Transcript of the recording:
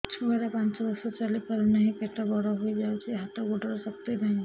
ଛୁଆଟା ପାଞ୍ଚ ବର୍ଷର ଚାଲି ପାରୁନାହଁ ପେଟ ବଡ ହୋଇ ଯାଉଛି ହାତ ଗୋଡ଼ର ଶକ୍ତି ନାହିଁ